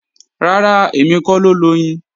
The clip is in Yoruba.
Rárá, èmi kọ́ ló loyin